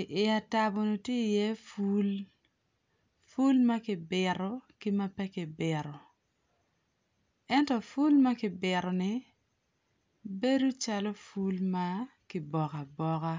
i iatabo ni tye i ye pul pul maki bito ki ma peki bito, ento pul mapeki bito ni bedo calo pul makiboka aboka.